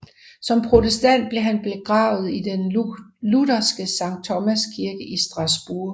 Som protestant blev han begravet i den lutherske Sankt Thomas Kirke i Strasbourg